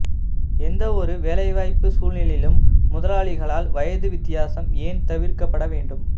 எந்தவொரு வேலைவாய்ப்பு சூழ்நிலையிலும் முதலாளிகளால் வயது வித்தியாசம் ஏன் தவிர்க்கப்பட வேண்டும்